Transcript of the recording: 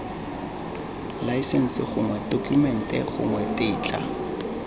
laesense gongwe tokumente gongwe tetla